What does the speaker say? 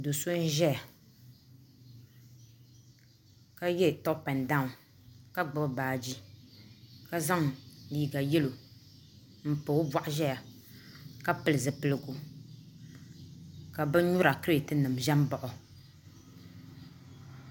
Do so n ʒɛya ka yɛ toop ɛnd daawn ka gbubi baaji ka zaŋ liiga yɛlo n pa o boɣu ʒɛya ka pili zipipigu ka bin nyura kirɛt nim ʒɛ n baɣa o